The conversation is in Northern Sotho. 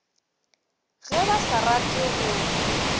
ge ba sa rate go